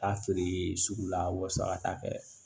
Taa feere sugu la wasa kɛ